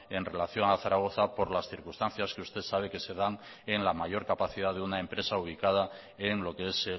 en relación a zaragoza por las circunstancias que usted sabe que se dan en la mayor capacidad de una empresa ubicada en lo qué es